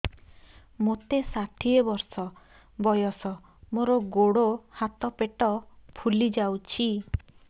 ମୋତେ ଷାଠିଏ ବର୍ଷ ବୟସ ମୋର ଗୋଡୋ ହାତ ପେଟ ଫୁଲି ଯାଉଛି